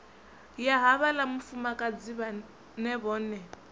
ya havhaḽa mufumakadzi vhaṅe vhone